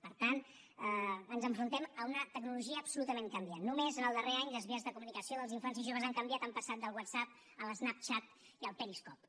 per tant ens enfrontem a una tecnologia absolutament canviant només en el darrer any les vies de comunicació dels infants i joves han canviat han passat del whatsapp a l’snapchat i al periscope